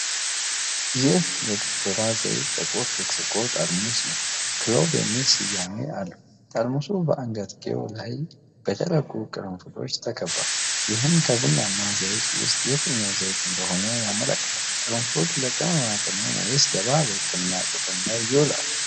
ይህ የ "ዶቴራ" ዘይት ጥቁር ብርጭቆ ጠርሙስ ነው፣ "ክሎቭ" የሚል ስያሜ አለው። ጠርሙሱ በአንገትጌው ላይ በደረቁ ቅርንፉዶች ተከቧል፣ ይህም ከቡናማው ዘይት ውስጥ የትኛው ዘይት እንደሆነ ያመለክታል። ቅርንፉድ ለቅመማ ቅመም ወይስ ለባህላዊ ሕክምና ጥቅም ላይ ይውላል?